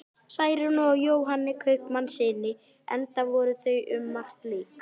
Særúnu og Jóhanni kaupmannssyni, enda voru þau um margt lík.